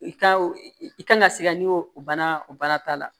I ka i kan ka se ka ɲɛ o bana o bana ta la